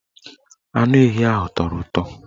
Anu ehi ahụ tọrọ ụtọ